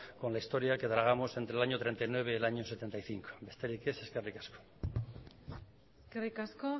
con la historia que tragamos entre el año mil novecientos treinta y nueve y el año mil novecientos setenta y cinco besterik ez eskerrik asko eskerrik asko